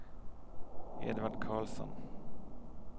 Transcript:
Edvard Carlsson